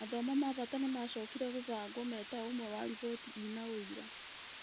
Mathomo ma bata nĩmacokire gũbangwo metaũmwe wa riboti ĩnaũira